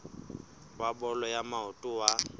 wa bolo ya maoto wa